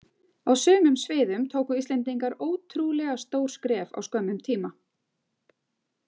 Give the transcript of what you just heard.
Á sumum sviðum tóku Íslendingar ótrúlega stór skref á skömmum tíma.